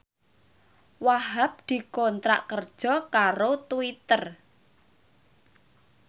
Wahhab dikontrak kerja karo Twitter